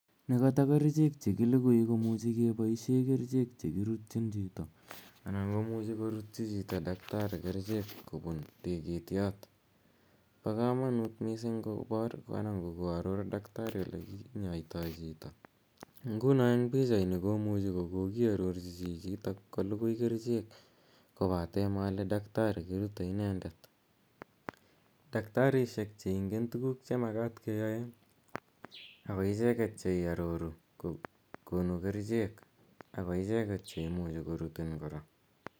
Ne kata kercheek che kilukui ko muchi kepaishe kericheek che kirutchin chito, anan ko muchi kortchi chito dakitari kericheek kopun tigityot. Po kamanuut missing' kopaar anan ko koaror daktari ole kinyaitai chito. Nguno pichaini komuchi kokiarorchi chichotok kolugui kericheek kopate male daktari kirute inendet. Daktarishiek che ingen tuguuk che makat keyae, ako iche get che iraroru , ko konu kericheek ako icheget che imuchi korutiin kora.